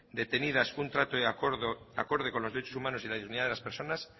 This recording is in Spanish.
detenidas un trato acorde con los derechos humanos y la dignidad de las personas